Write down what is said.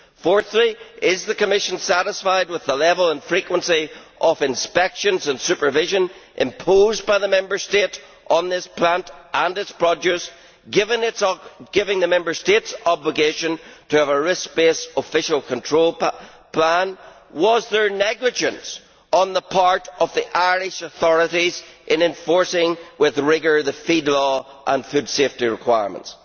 Fourthly, is the Commission satisfied with the level and frequency of inspections and supervision imposed by the Member State on this plant and its produce, given the Member State's obligation to have a risk based official control plan? Was there negligence on the part of the Irish authorities in enforcing with rigour the feed law and food safety requirements?